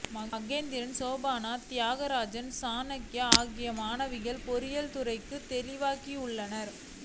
மகேந்திரன் சோபனா திவாகரன் ருசன்யா ஆகிய மாணவிகள் பொறியியல்துறைக்குத் தெரிவாகியுள்ளனர்